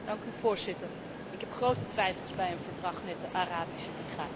Voorzitter, ik heb grote twijfels bij een verdrag met de Arabische Liga.